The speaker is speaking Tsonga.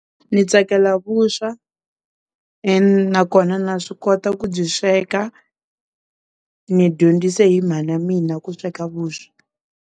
Ni tsakela vuswa na kona na swi kota ku byi sweka, ni dyondzise hi mhana mina ku sweka vuswa.